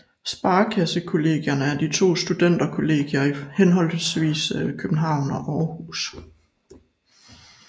Sparekassekollegierne er to studenterkollegier i henholdsvis København og Aarhus